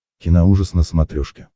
киноужас на смотрешке